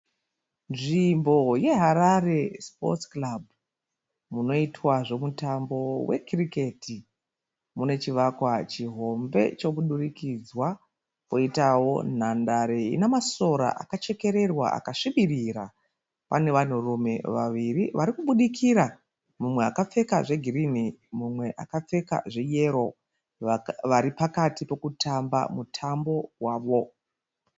Nzvimbo yeHarare Sports Club munoitwa zvemutambo wecricket. Mune chivakwa chihombe chomudurikidzwa. Poitawo nhandare ine masora akachekererwa akasvibirira. Pane vanhurume vaviri varikubudikira. Mumwe akapfeka zvegirinhi mumwe akapfeka zveyero. Vari pakati pokutamba mutambo wavo.